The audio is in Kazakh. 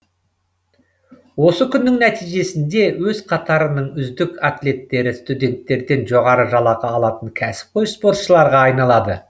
осы күннің нәтижесінде өз қатарының үздік атлеттері студенттерден жоғары жалақы алатын кәсіпқой спортшыларға айналады